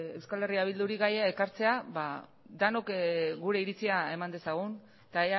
eh bilduri gaia ekartzea denok gure iritzia eman dezagun eta